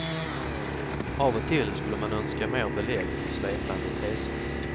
Av och till skulle man önska mer belägg för svepande teser.